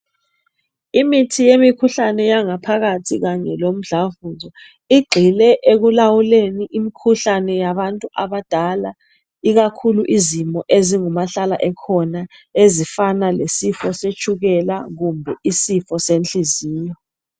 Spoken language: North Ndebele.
Imithi yemikhuhlane yangaphakathi kanye lomdlavuso igxile ekulawuleni imikhuhlane yabantu abadala ikakhulu izimo ezingumahlala ekhona ezifana lesifo setshukela kumbe isifo senhliziyo.